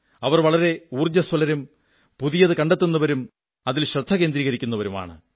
അവർ വളരെ ഊർജ്ജസ്വലരും പുതിയതു കണ്ടെത്തുന്നവരും ശ്രദ്ധ കേന്ദ്രീകരിക്കുന്നവരുമാണ്